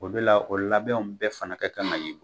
O de la o labɛnw bɛɛ fana ka kan ka ye